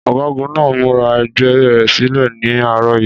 Ọ̀gágun náà múra ẹgbẹ́ rẹ̀ sílẹ̀ ní àárọ̀ yìí.